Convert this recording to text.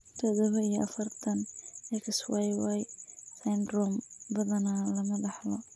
Todoba iyo afartan, XYY syndrome badanaa lama dhaxlo.